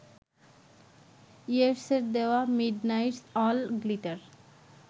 ইয়েটসের there midnight's all glitter